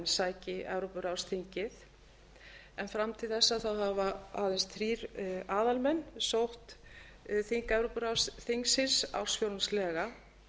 sæki evrópuráðsþingið en fram til þess hafa aðeins þrír aðalmenn sótt þing evrópuráðsþingsins ársfjórðungslega